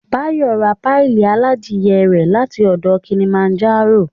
Báyọ̀ ra páyì aládìe rẹ̀ láti ọ̀dọ̀ Kilimanjaro